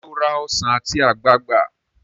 ṣe o rà Ọsán ati ogbagba?